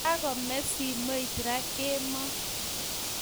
Kakome simoit raa kemo